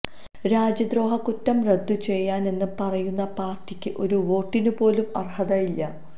രാജ്യദ്രോഹ കുറ്റം റദ്ദു ചെയ്യും എന്ന് പറയുന്ന പാര്ട്ടിക്ക് ഒരു വോട്ടിന് പോലും അര്ഹതയില്ല